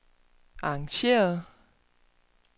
arrangeret